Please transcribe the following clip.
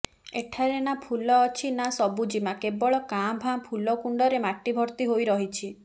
ଏଠାରେ ନା ଫୁଲ ଅଛି ନା ସବୁଜିମା କେବଳ କାଁ ଭଁା ଫୁଲକୁଣ୍ଡରେ ମାଟି ଭର୍ତ୍ତି ହୋଇ ରହିଛି